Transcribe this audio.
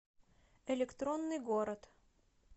электронный город